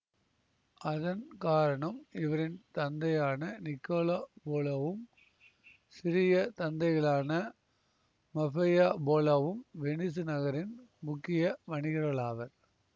அதன் காரணம் இவரின் தந்தையான நிக்கோலோ போலோவும் சிறிய தந்தைகளான மஃபெயா போலோவும் வெனிசு நகரின் முக்கிய வணிகர்களாவர்